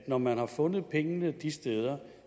når man har fundet pengene de steder